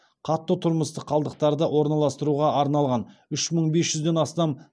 қатты тұрмыстық қалдықтарды орналастыруға арналған үш мың бес жүзден астам